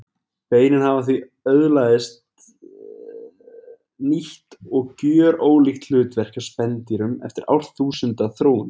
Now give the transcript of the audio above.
Beinin hafa því öðlaðist nýtt og gjörólíkt hlutverk hjá spendýrunum eftir árþúsunda þróun.